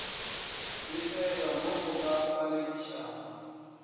befelwa mo go ka paledišago